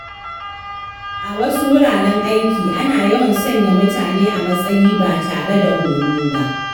A wasu wuraren aiki, ana yawan sanya mutane a matsayi ba tare da horo ba.